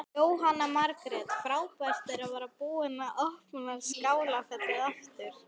Jóhanna Margrét: Frábært að vera búið að opna Skálafelli aftur?